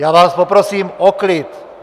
Já vás poprosím o klid!